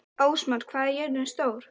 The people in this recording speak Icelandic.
Ásmar, hvað er jörðin stór?